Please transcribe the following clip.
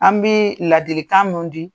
An bɛ ladilikan nun di.